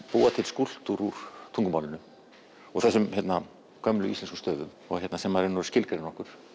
búa til skúlptúr úr tungumálinu og þessum gömlu íslensku stöfum sem í rauninni skilgreina okkur